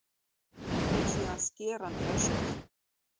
Og síðan skerandi öskur.